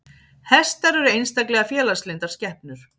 Hestar eru einstaklega félagslyndar skepnur.